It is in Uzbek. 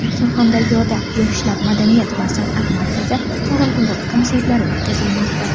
Surxondaryoda Yoshlar madaniyat va san’at markazi targ‘ibot konsertlari o‘tkazilmoqda.